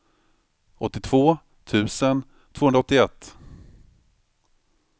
åttiotvå tusen tvåhundraåttioett